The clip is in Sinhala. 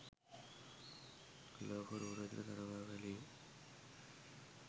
ලෝක රූ රැජිණ තරගාවලිය